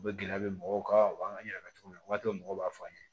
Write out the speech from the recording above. U bɛ gɛlɛya bɛ mɔgɔw kan u b'an ka ɲɛnajɛw waati mɔgɔw b'a fɔ an ye